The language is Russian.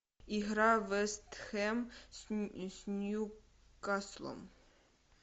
игра вест хэм с ньюкаслом